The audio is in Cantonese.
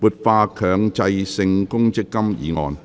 "活化強制性公積金"議案。